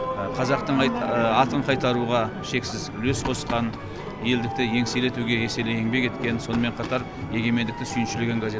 қазақтың атын қайтаруға шексіз үлес қосқан елдікті еңселі етуге еселі еңбек еткен сонымен қатар егемендікті сүйіншілеген газет